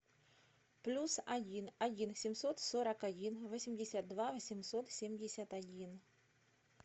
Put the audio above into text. плюс один один семьсот сорок один восемьдесят два восемьсот семьдесят один